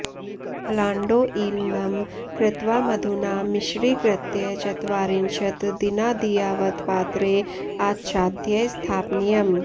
पलाण्डोः ईलनं कृत्वा मधुना मिश्रीकृत्य चत्वारिंशत् दिनादियावत् पात्रे आच्छाद्य स्थापनीयम्